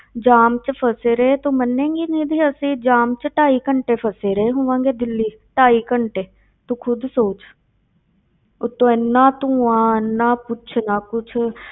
ਜਾਮ ਵਿੱਚ ਫ਼ਸੇ ਰਹੇ, ਤੂੰ ਮੰਨੇਗੀ ਨਿੱਧੀ ਅਸੀਂ ਜਾਮ ਵਿੱਚ ਢਾਈ ਘੰਟੇ ਫ਼ਸੇ ਰਹੇ ਹੋਵਾਂਗੇ ਦਿੱਲੀ, ਢਾਈ ਘੰਟੇ ਤੂੰ ਖੁੱਦ ਸੋਚ ਉੱਤੋਂ ਇੰਨਾ ਧੂੰਆ ਇੰਨਾ ਪੁੱਛ ਨਾ ਕੁਛ,